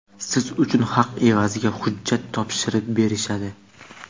siz uchun haq evaziga hujjat topshirib berishadi.